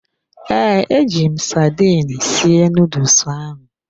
Ee, eji m sardine sie nuduls ahu.